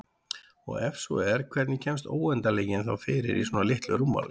Og ef svo er hvernig kemst óendanleikinn þá fyrir í svona litlu rúmmáli?